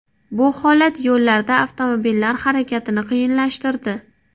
Bu holat yo‘llarda avtomobillar harakatini qiyinlashtirdi.